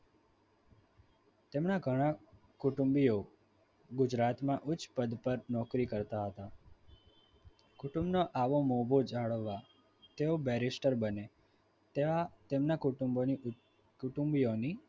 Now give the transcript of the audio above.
તેમના ઘણા કુટુંબીઓ ગુજરાતમાં ઉચ્ચ પદ પર નોકરી કરતા હતા કુટુંબનો આવો મોભો જાળવવા તેઓ berister બન્યા. ત્યાં તેમના કુટુંબોની